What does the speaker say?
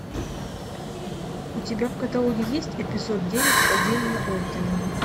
у тебя в каталоге есть эпизод девять падение ордена